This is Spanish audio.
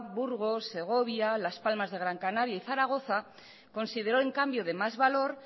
burgos segovia las palmas de gran canaria y zaragoza considero en cambio de más valor